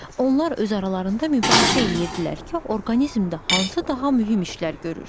Onlar öz aralarında mübahisə eləyirdilər ki, orqanizmdə hansı daha mühüm işlər görür.